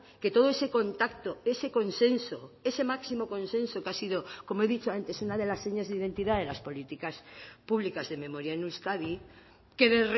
que todo ese contacto ese consenso ese máximo consenso que ha sido como he dicho antes una de las señas de identidad de las políticas públicas de memoria en euskadi quede